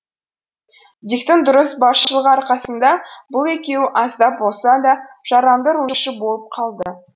диктің дұрыс басшылығы арқасында бұл екеуі аздап болса да жарамды рульші болып қалды